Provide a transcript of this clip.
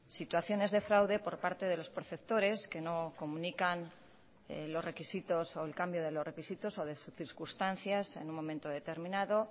situaciones de fraude por parte de los perceptores que no comunican los requisitos o el cambio de los requisitos o de sus circunstancias en un momento determinado